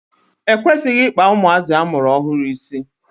E kwesịghị Ị kpa ụmụazị amụrụ ọhụrụ isi.